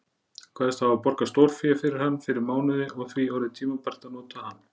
Kveðst hafa borgað stórfé fyrir hann fyrir mánuði og því orðið tímabært að nota hann.